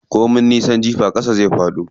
Ko min nisan jifa ƙasa zai faɗo.